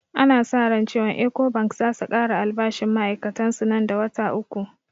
Ana sa ran cewan ecobank zasu kara albashinn ma'ai'katan su nan da wata uku